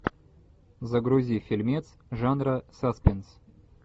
загрузи фильмец жанра саспенс